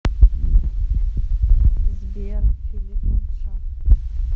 сбер филип лэнгшоу